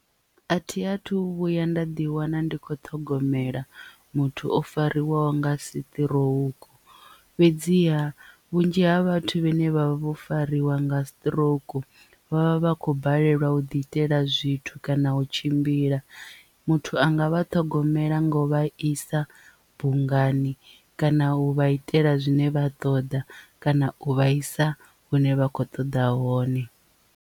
A thi a thu vhuya nda ḓi wana ndi kho ṱhogomela muthu o fariwaho nga siṱirouku fhedziha vhunzhi ha vhathu vhane vha vha vho fariwa nga sitirouku vhavha vha khou balelwa u ḓi itela zwithu kana u tshimbila muthu anga vha ṱhogomela nga u vha isa bungani kana u vha itela zwine vha ṱoḓa kana u vhaisa hune vha kho ṱoḓa hone.